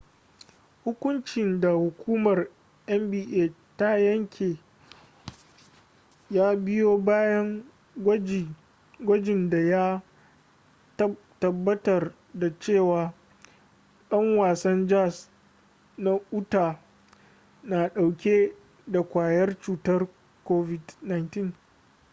hukuncin da hukumar nba ta yanke ya biyo bayan gwajin da ya tabbatar da cewa dan wasan jazz na utah na dauke da kwayar cutar covid-19